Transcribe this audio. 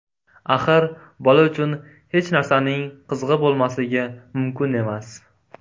Axir bola uchun hech narsaning qizig‘i bo‘lmasligi mumkin emas.